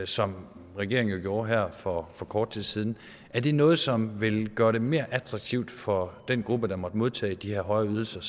som regeringen gjorde her for for kort tid siden er det noget som vil gøre det mere attraktivt for den gruppe der måtte modtage de her højere ydelser